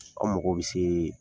Aw mago bi se